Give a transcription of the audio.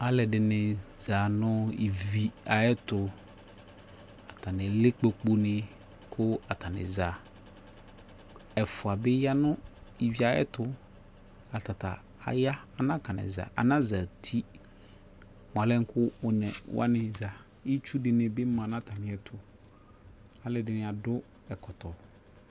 Alɛdini za nu ivi ayɛ tu Atani lɛ kpoku ni ku atani za Ɛfua bi ya nu ivi ayɛ tu Atata aya anazati mua lɛ buaku ɔne wani zaItsu dini bi ma na ta mi yɛ uAlɛdini du ɛkɔtɔ